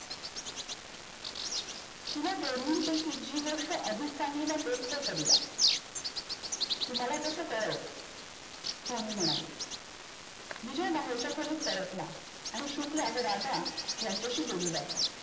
ह्या दोन्हीं पैकी जी गोष्ट अधिक चांगली वाटेल ते करूया. तू मला तस कळावं स्वामी म्हणाले. विजय बाहेरच्या खोलीत परतला आणि शुक्ल आणि राधा यांच्याशी बोलू लागला.